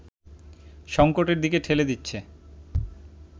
সংকটের দিকে ঠেলে দিচ্ছে